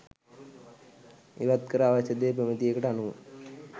ඉවත් කර අවශ්‍ය දේ ප්‍රමිතියකට අනුව